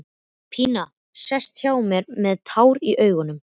Pína sest hjá honum með tár í augum.